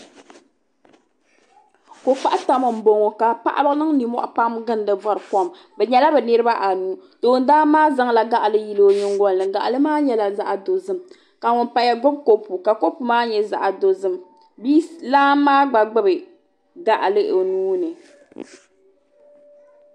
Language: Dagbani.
Kokpaɣu tam m boŋɔ ka paɣaba niŋ ninmohi bori kom bɛ nyɛla bɛ niriba anu toon dan maa zaŋla gaɣali yili o nyingolini gaɣali maa nyɛla dozim ka ŋun paya gbibi kopu kopu maa nyɛla dozim bia lana maa gba gbibi gaɣali o nuuni.